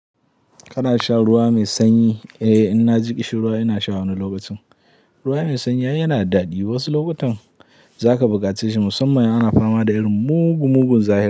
Kana sha ruwa mai sanyi? Eh, in na ji ƙishi ruwa ina sha wani lokacin. Ruwa mai sanyi ai yana da daɗi. Wasu lokutan za ka buƙace shi musamman in ana fama da irin mugun mugun zafi.